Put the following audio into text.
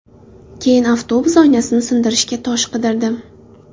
Keyin avtobus oynasini sindirishga tosh qidirdim.